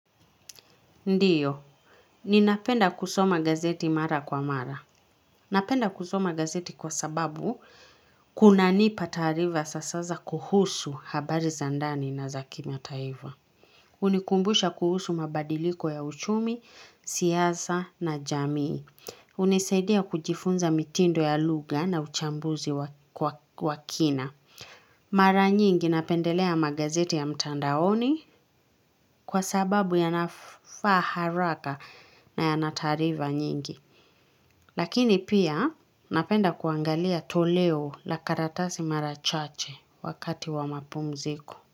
Ndio, ninapenda kusoma gazeti mara kwa mara. Napenda kusoma gazeti kwa sababu, kunanipa taarifa za sasa kuhusu habari za ndani na za kimataifa. Hunikumbusha kuhusu mabadiliko ya uchumi, siasa na jamii. Hunisaidia kujifunza mitindo ya lugha na uchambuzi wa kina. Mara nyingi napendelea magazeti ya mtandaoni kwa sababu ya nafaa haraka na ya na taarifa nyingi. Lakini pia napenda kuangalia toleo la karatasi mara chache wakati wa mapumziko.